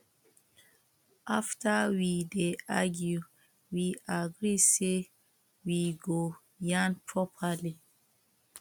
after we dey argue we agree say we go yarn properly